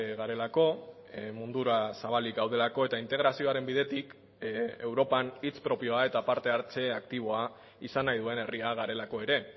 garelako mundura zabalik gaudelako eta integrazioaren bidetik europan hitz propioa eta parte hartze aktiboa izan nahi duen herria garelako ere